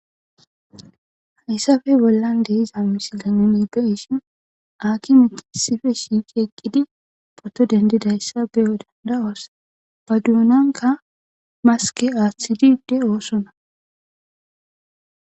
hayssafe bollan deiza misile nenigeshin aki mitisife shiiqi eqqidi pato dendidayssa beyo dandawos ba duunanka maske aaththidide oosona